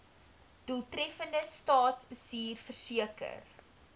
doeltreffende staatsbestuur verseker